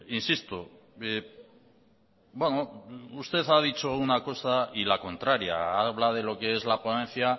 insisto usted ha dicho una cosa y la contraria habla de lo que es la ponencia